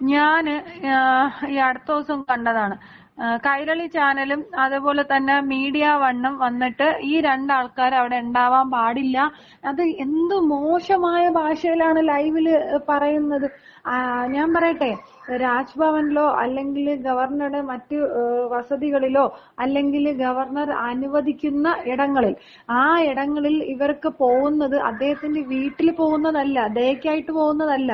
ഞാന് ഈ അടുത്ത ദിവസം കണ്ടതാണ്, കൈരളി ചാനലും അതേപോല തന്ന മീഡിയ വണ്ണും വന്നിട്ട്, ഈ രണ്ട് ആൾക്കാരും അവിടെ ഉണ്ടാവാൻ പാടില്ല, അത് എന്ത് മോശമായ ഭാഷയിലാണ് ലൈവില് പറയുന്നത്. ഞാൻ പറയട്ടെ, രാജ് ഭവനിലോ അല്ലെങ്കില് ഗവർണറുടെ മറ്റ് വസതികളിലോ അല്ലെങ്കില് ഗവർണർ അനുവദിക്കുന്ന ഇടങ്ങളിൽ, ആ ഇടങ്ങളിൽ ഇവർക്ക് പോകുന്നത് അദ്ദേഹത്തിന്‍റെ വീട്ടിൽ പോകുന്നതല്ല. ദയക്കായിട്ട് പോകുന്നതല്ല.